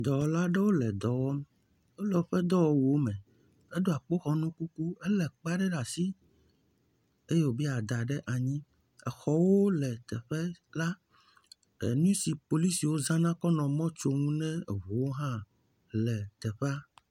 Dɔwɔla aɖewo le dɔ wɔm, wole woƒe dɔwɔwuwo me, eɖɔ akpoxɔnu kuku, elé kpea ɖe asi eye wòbe yeada ɖe anyi. Exɔwo le teƒea, nu si polisiwo hã zana kɔ nɔ mɔ tsom ne eŋuwo hã le teƒea.